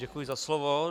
Děkuji za slovo.